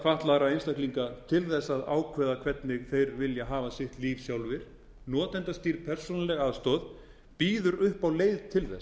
fatlaðra einstaklinga til að ákveða hvernig þeir vilja hafa sitt líf sjálfir notendastýrð persónuleg aðstoð býður upp á leið til þess